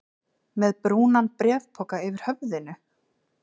Með brúnan bréfpoka yfir höfðinu?